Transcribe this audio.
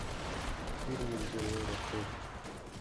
фильмы где лара крофт